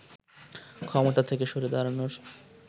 ক্ষমতা থেকে সরে দাঁড়ানোর